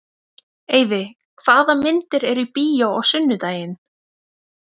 Eyfi, hvaða myndir eru í bíó á sunnudaginn?